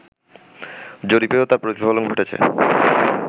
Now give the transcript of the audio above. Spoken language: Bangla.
জরিপেও তার প্রতিফলন ঘটেছে